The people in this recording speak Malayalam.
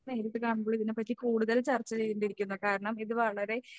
നേരിട്ട് കാണുമ്പോൾ ഇതിനെപ്പറ്റി കൂടുതൽ ചർച്ച ചെയ്യേണ്ടിയിരിക്കുന്നു കാരണം ഇത് വളരെ